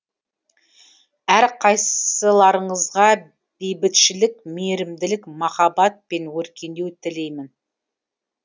әрқайсыларыңызға бейбітшілік мейірімділік махаббат пен өркендеу тілеймін